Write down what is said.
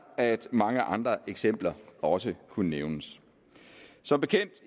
at mange andre eksempler også kunne nævnes som bekendt